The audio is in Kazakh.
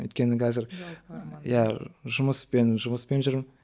өйткені қазір иә жұмыспен жұмыспен жүрмін